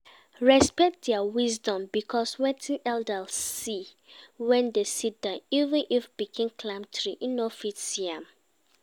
Respect their wisdom because wetin elder see when e sitdown even if pikin climb tree e no fit see am